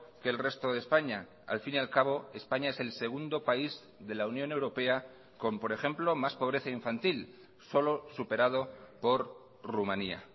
que el resto de españa al fin y al cabo españa es el segundo país de la unión europea con por ejemplo más pobreza infantil solo superado por rumania